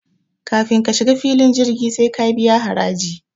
kafin ka shiga filin jirgi sai ka biya haraji